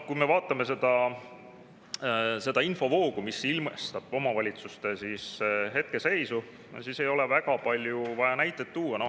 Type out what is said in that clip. Kui me vaatame seda infovoogu, mis omavalitsuste hetkeseisu, siis ei ole väga palju vaja näiteid tuua.